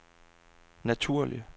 naturlig